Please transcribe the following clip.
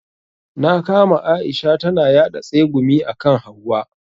Na kama Aisha tana yaɗa tsegumi akan hauwa.